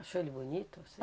Achou ele bonito, assim?